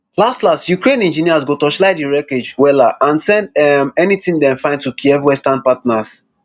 laslas ukraine engineers go torchlight di wreckage wella and send um anytin dem find to kyiv westerm partners